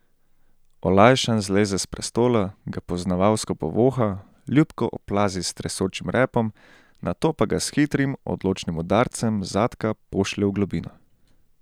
Olajšan zleze s prestola, ga poznavalsko povoha, ljubko oplazi z tresočim repom, nato pa ga s hitrim, odločnim udarcem zadka pošlje v globino.